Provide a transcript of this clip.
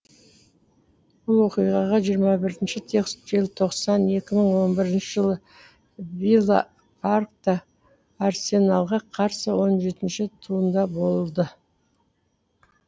бұл оқиғаға жиырма бірінші желтоқсан екі мың он бірінші жылы вилла паркта арсеналға қарсы он жетінші туында болды